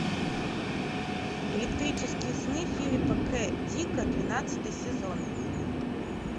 электрические сны филипа к дика двенадцатый сезон